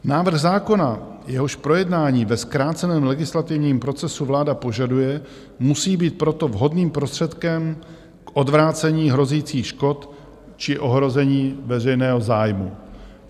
Návrh zákona, jehož projednání ve zkráceném legislativním procesu vláda požaduje, musí být proto vhodným prostředkem k odvrácení hrozících škod či ohrožení veřejného zájmu.